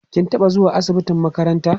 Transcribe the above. kin taɓa zuwa asibitin makaranta?